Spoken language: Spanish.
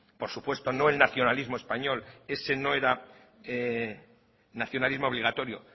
por supuesto no el nacionalismo español ese no era nacionalismo obligatorio